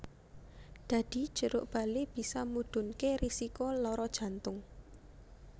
Dadi jeruk bali bisa mudhunké risiko lara jantung